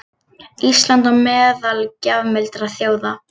Ísland á meðal gjafmildra þjóða